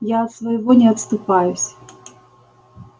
я от своего не отступаюсь